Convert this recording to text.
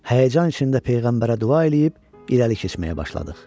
Həyəcan içində peyğəmbərə dua eləyib irəli keçməyə başladıq.